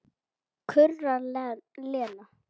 kurrar Lena.